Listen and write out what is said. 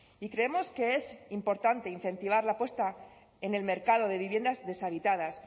y creemos que es importante incentivar la puesta en el mercado de viviendas deshabitadas